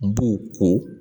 N b'u ko